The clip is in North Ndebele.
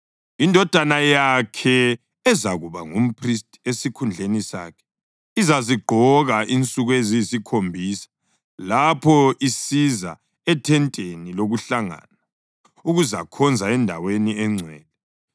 Indodana yakhe ezakuba ngumphristi esikhundleni sakhe izazigqoka insuku eziyisikhombisa lapho isiza ethenteni lokuhlangana ukuzakhonza eNdaweni eNgcwele.